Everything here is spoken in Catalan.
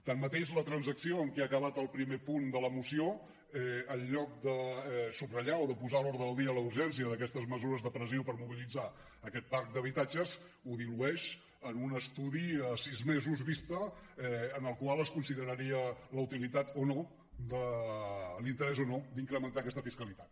tanmateix la transacció en què ha acabat el primer punt de la moció en lloc de subratllar o de posar a l’ordre del dia la urgència d’aquestes mesures de pressió per mobilitzar aquest parc d’habitatges ho dilueix en un estudi a sis mesos vista en el qual es consideraria la utilitat o no l’interès o no d’incrementar aquesta fiscalitat